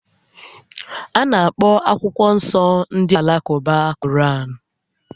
A na-akpọ akwụkwọ nsọ nke ndị Alakụba "Koraan"